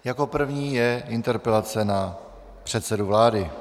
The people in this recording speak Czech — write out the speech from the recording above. Jako první je interpelace na předsedu vlády.